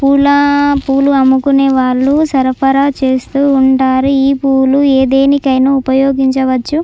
పూల పూలు అమ్ముకునే వాళ్ళు సరఫరా చేస్తూ ఉంటారు ఈ పూలు దేనికైనా ఉపయోగించవచ్చు.